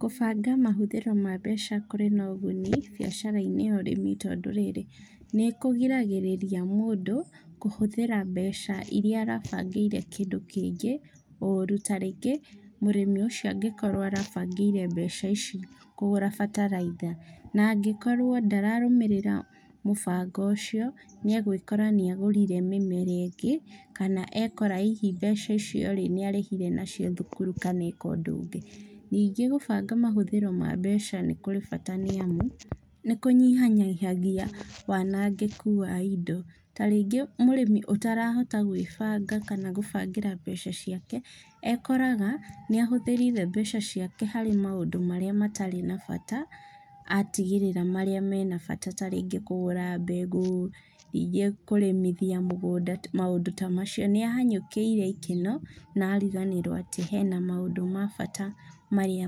Kũbanga mahũthĩro ma mbeca kũrĩ na ũguni bĩacarainĩ ya ũrĩmi tondũ rĩrĩ nĩ kũgiragĩrĩria mũndũ kũhũthĩra mbeca iria arabangĩire kĩndũ kĩngĩ ũru. Ta rĩngĩ mũrĩmi ũcio angĩkorwo arabangĩire mbeca ici kũgũra bataraitha na angĩkorwo ndararũmĩrĩra mũbango ũcio nĩ agwĩkora nĩ agũrire mĩmera ĩngĩ kana ekora hihi mbeca icio rĩ, nĩarĩhire nacio thukuru kana eka ũndũ ũngĩ. Nyingĩ gũbanga mahũthĩro ma mbeca nĩ kũrĩ bata nĩ amu, nĩ kũnyihanyihagia wanangĩku wa indo. Ta rĩngĩ mũrĩmi atarahota gwĩbanga kana gũbangĩra mbeca ciake, ekoraga nĩ ahũthĩrire mbeca ciake harĩ maũndũ marĩa matarĩ na bata, atigĩrĩra marĩa mena bata ta rĩngĩ kũgũra mbegũ, ingĩ kũrĩmithia mũgũnda, maũndũ ta macio. Nĩahanyũkĩire ikeno na ariganĩrwo hena maũndũ ma bata marĩa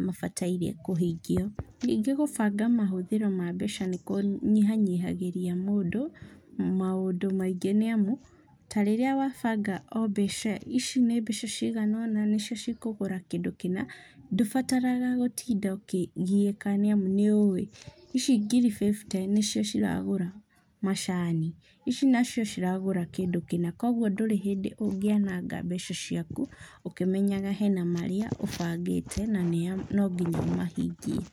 mabataire kũhingio. Nyingĩ gũbanga mahũthĩro ma mbeca nĩ kũnyihanyihagĩria mũndũ maũndũ maingĩ nĩ amu, ta rĩrĩa wa banga o mbeca, ici nĩ mbeca cigana onanĩcio cikogũra kĩndũ kĩna ndũbataraga gũtinda ũkĩgiĩka nĩ amu nĩũĩ ici ngiri fifty nĩcio ciragũra macani ici nacio ciragũra kĩndũ kĩna koguo ndũrĩ hĩndĩ ũngĩanaga mbeca ciaku ũkĩmenyaga hena marĩa ũbangĩte na no nginya ũmahingie.